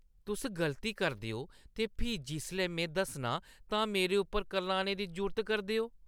तुस गलती करदे ओ ते फ्ही जिसलै में दस्सनां तां मेरे उप्पर करलाने दी जुर्त करदे ओ।